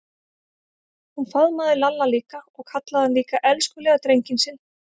Hún faðmaði Lalla líka og kallaði hann líka elskulega drenginn sinn.